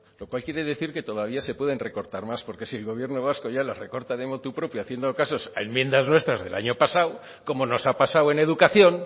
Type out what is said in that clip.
lo cual quiere decir que todavía se pueden recortar más porque si el gobierno vasco ya las recorta de motu propio haciendo casos a enmiendas nuestras del año pasado como nos ha pasado en educación